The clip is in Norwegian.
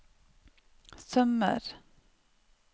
sømmer